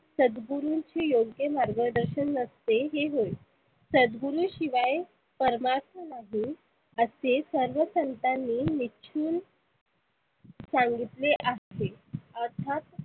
सदगुरुंशी योग्य मार्ग दर्शन नसते हे होय. सदगुरु शिवाय परमात्मा नाही असे सर्व संतानी निश्चून सांगितले आहे. अर्थात